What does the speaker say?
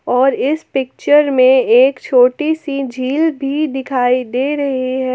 और इस पिक्चर में एक छोटी सी झील भी दिखाई दे रही है।